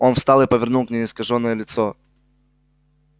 он встал и повернул к ней искажённое лицо